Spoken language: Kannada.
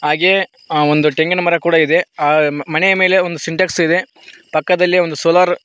ಹಾಗೆ ಒಂದು ತೆಂಗಿನ ಮರ ಕೂಡ ಇದೆ ಹಾ ಮನೆಯ ಮೇಲೆ ಒಂದು ಸಿಂಟೆಕ್ಸ್ ಇದೆ ಪಕ್ಕದಲ್ಲಿ ಒಂದು ಸೋಲಾರ್ --